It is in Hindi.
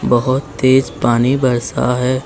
बहोत तेज पानी बरसा है।